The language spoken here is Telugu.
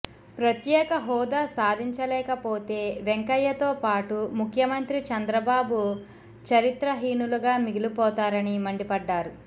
ప్రత్యేక హోదా సాధించలేకపోతే వెంకయ్యతో పాటు ముఖ్యమంత్రి చంద్రబాబు చరిత్ర హీనులుగా మిగిలిపోతారని మండిపడ్డారు